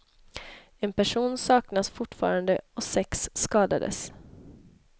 En person saknas fortfarande och sex skadades.